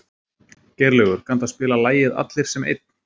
Geirlaugur, kanntu að spila lagið „Allir sem einn“?